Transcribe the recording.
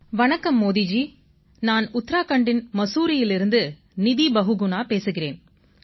வணக்கம் மோடி அவர்களே நான் உத்தராகண்டின் முசோரியிலிருந்து நிதி பகுகுணா பேசுகிறேன்